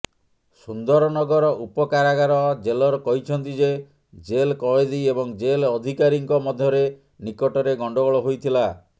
ସୁନ୍ଦରନଗର ଉପକାରାଗାର ଜେଲର କହିଛନ୍ତି ଯେ ଜେଲ୍ କଏଦୀ ଏବଂ ଜେଲ୍ ଅଧିକାରୀଙ୍କ ମଧ୍ୟରେ ନିକଟରେ ଗଣ୍ଡଗୋଳ ହୋଇଥିଲା